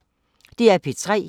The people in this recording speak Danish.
DR P3